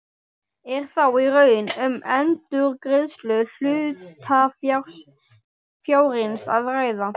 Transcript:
Er þá í raun um endurgreiðslu hlutafjárins að ræða.